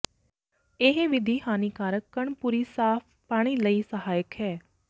ਇਹ ਵਿਧੀ ਹਾਨੀਕਾਰਕ ਕਣ ਪੂਰੀ ਸਾਫ਼ ਪਾਣੀ ਲਈ ਸਹਾਇਕ ਹੈ